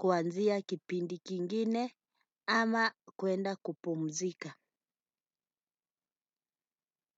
kuanzia kipindi kingine ama kuenda kupumzika.